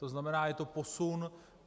To znamená, je to posun.